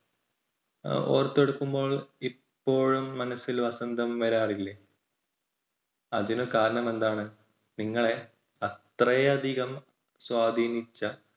ഓർത്തെടുക്കുമ്പോൾ ഇപ്പോഴും മനസ്സിൽ വസന്തം വരാറില്ലേ? അതിനു കാരണം എന്താണ്? നിങ്ങളെ അത്രയധികം സ്വാധീനിച്ച